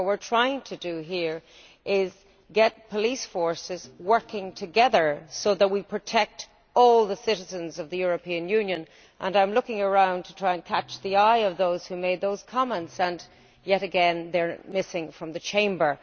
What we are trying to do here is get police forces working together so that we protect all the citizens of the European Union and I am looking around to try and catch the eye of those who made those comments and yet again they are missing from the Chamber.